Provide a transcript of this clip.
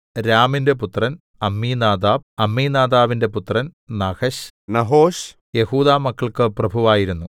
രാമിന്റെ പുത്രൻ അമ്മീനാദാബ് അമ്മീനാദാബിന്റെ പുത്രൻ നഹശ് നഹോശ് യെഹൂദാമക്കൾക്ക് പ്രഭുവായിരുന്നു